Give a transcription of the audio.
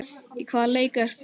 Í hvaða leik ertu?